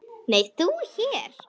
Nei, þú hér?